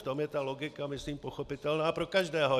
V tom je ta logika myslím pochopitelná pro každého.